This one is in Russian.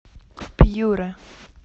пьюра